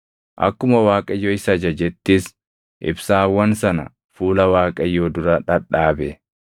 Akkuma Waaqayyo isa ajajettis ibsaawwan sana fuula Waaqayyoo dura dhadhaabe.